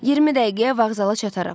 20 dəqiqəyə vağzala çataram.